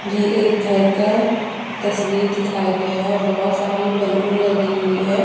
ये एक घर का तस्वीर दिखाया गया है बहुत सारे बैलून लगी हुई है।